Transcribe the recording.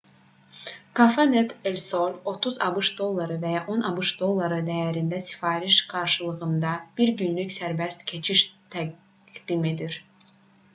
cafenet el sol 30 abş dolları və ya 10 abş dolları dəyərində sifariş qarşılığında bir günlük sərbəst keçiş təqdim edir